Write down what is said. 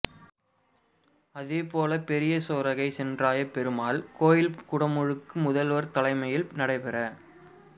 அதேபோல பெரிய சோரகை சென்றாயப் பெருமாள் கோயில் குடமுழுக்கு முதல்வா் தலைமையில் நடைபெற